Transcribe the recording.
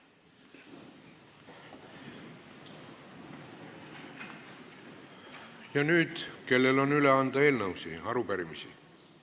Ja nüüd, kellel on üle anda eelnõusid või arupärimisi?